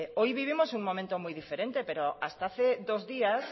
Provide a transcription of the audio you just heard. hoy vivimos un momento muy diferente pero hasta hace dos días